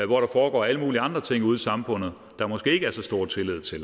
hvor der foregår alle mulige andre ting ude i samfundet der måske ikke er så stor tillid til